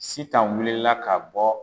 Sitan wulila ka bɔ